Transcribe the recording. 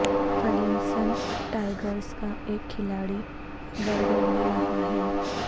Clemson Tigers کا ایک کھلاڑی برگر لے رہا ہے